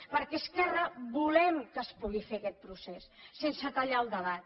perquè esquerra volem que es pugui fer aquest procés sense tallar el debat